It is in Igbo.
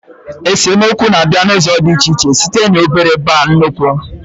Esemokwu na-abịa n'ụzọ dị iche iche, site n'obere baa nnụkwu